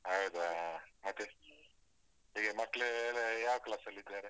ಹೌದಾ? ಮತ್ತೆ ಈಗ ಮಕ್ಳು ಎಲ್ಲ ಯಾವ್ class ಲ್ಲಿದ್ದಾರೆ?